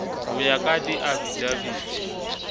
ka ho ya ka diafidaviti